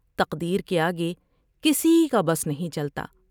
تقدیر کے آگے کسی کا بس نہیں چلتا ۔